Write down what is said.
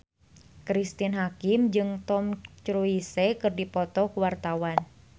Cristine Hakim jeung Tom Cruise keur dipoto ku wartawan